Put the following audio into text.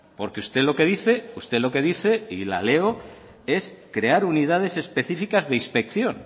porque usted lo que dice usted lo que dice y la leo es crear unidades específicas de inspección